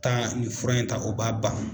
Taa ni fura in ta o b'a ban.